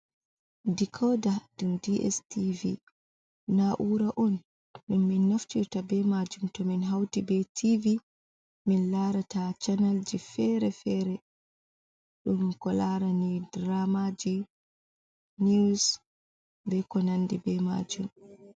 Dikoda, ɗum DSTV na ura on ɗum min naftirta ɓe maajum too min hauti ɓe TV min larata channelje fere-fere ɗum ko larani diramaaji niwus be konande be maajum.